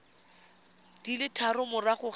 di le tharo morago ga